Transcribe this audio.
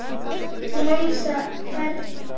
lausa ferli.